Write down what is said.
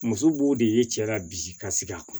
Muso b'o de ye cɛ la bi ka sigi a kun